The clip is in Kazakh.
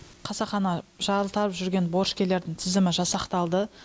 қасақана жалтарып жүрген борышкерлердің тізімі жасақталды